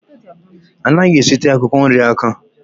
Anaghị esite akwụkwọ nri aka